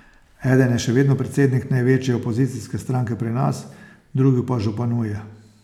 Eden je še vedno predsednik največje opozicijske stranke pri nas, drugi pa županuje.